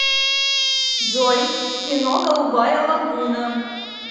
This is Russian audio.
джой кино голубая лагуна